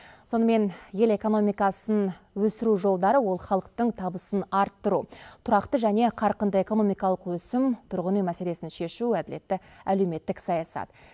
сонымен ел экономикасын өсіру жолдары ол халықтың табысын арттыру тұрақты және қарқынды экономикалық өсім тұрғын үй мәселесін шешу әділетті әлеуметтік саясат